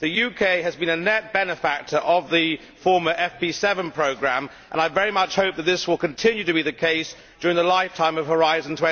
The UK has been a net beneficiary of the former FP7 Programme, and I very much hope that this will continue to be the case during the lifetime of Horizon